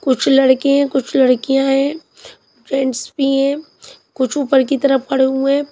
कुछ लड़के हैं कुछ लड़कियां हैं फ्रेंड्स भी हैं कुछ ऊपर की तरफ खड़े हुए--